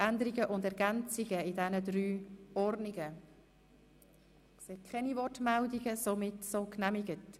wer den Antrag Grüne annehmen will, stimmt nein.